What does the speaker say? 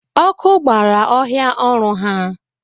Ọkụ gbara ọhịa ọrụ ha